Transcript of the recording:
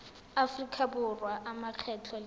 aforika borwa a makgetho le